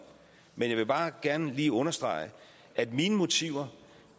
men jeg vil bare gerne lige understrege at mine motiver